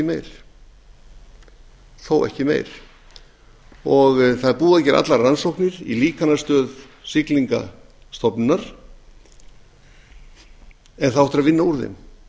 en þó ekki meir það er búið að gera allar rannsóknir í líkanastöð siglingastofnunar en það á eftir að vinna úr þeim það